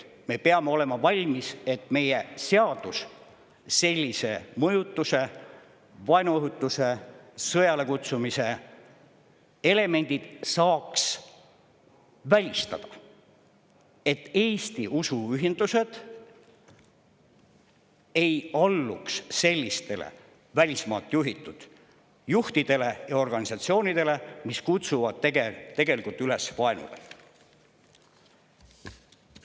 Me peame olema valmis, et meie seadus saaks sellise mõjutamise, vaenuõhutuse, sõjale kutsumise elemendid välistada, et Eesti usuühendused ei alluks sellistele välismaalt juhitud juhtidele ja organisatsioonidele, mis kutsuvad tegelikult üles vaenule.